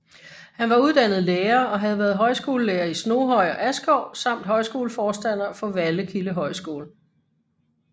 Han var uddannet lærer og havde været højskolelærer i Snoghøj og Askov samt højskoleforstander for Vallekilde Højskole